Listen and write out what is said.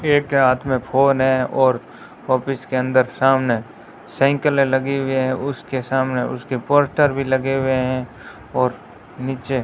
एक के हाथ में फोन है और ऑफिस के अंदर सामने साइकिलें लगी हुई है उसके सामने उसके पोस्टर भी लगे हुए हैं और नीचे --